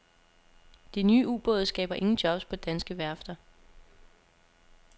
De nye ubåde skaber ingen jobs på danske værfter.